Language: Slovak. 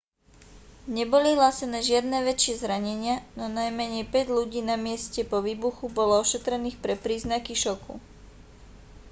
neboli hlásené žiadne väčšie zranenia no najmenej päť ľudí na mieste po výbuchu bolo ošetrených pre príznaky šoku